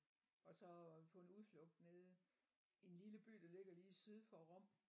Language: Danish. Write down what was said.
Og såå på en udflugt nede i en lille by der ligger lige syd for Rom